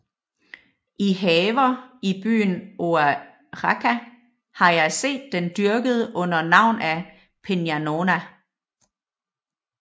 I Haver i Byen Oajaca har jeg seet den dyrket under Navn af Piñanona